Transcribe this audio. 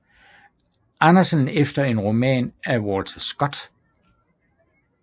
Andersen efter en roman af Walter Scott